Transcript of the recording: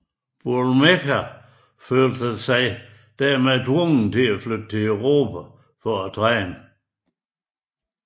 Boulmerka følte sig dermed tvunget til at flytte til Europa for at træne